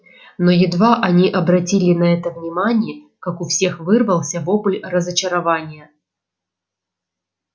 но едва они обратили на это внимание как у всех вырвался вопль разочарования